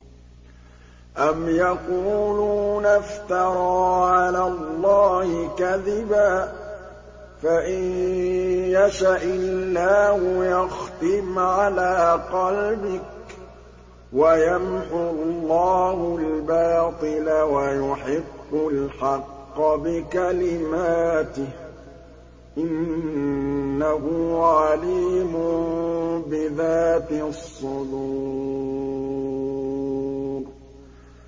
أَمْ يَقُولُونَ افْتَرَىٰ عَلَى اللَّهِ كَذِبًا ۖ فَإِن يَشَإِ اللَّهُ يَخْتِمْ عَلَىٰ قَلْبِكَ ۗ وَيَمْحُ اللَّهُ الْبَاطِلَ وَيُحِقُّ الْحَقَّ بِكَلِمَاتِهِ ۚ إِنَّهُ عَلِيمٌ بِذَاتِ الصُّدُورِ